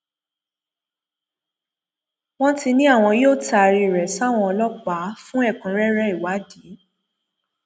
wọn ti ní àwọn yóò taari rẹ sáwọn ọlọpàá fún ẹkúnrẹrẹ ìwádìí